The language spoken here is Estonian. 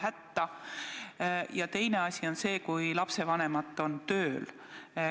Teine raskendav tegur on see, kui lapsevanemad on tööl.